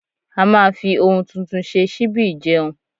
a ma fi oun tuntun ṣe síbí ìjeun